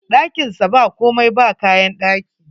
Ɗakin sa ba komai, ba kayan ɗaki